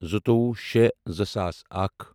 زٕتووُہ شےٚ زٕ ساس اکھ